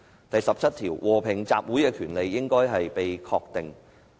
第十七條訂明："和平集會之權利，應予確定。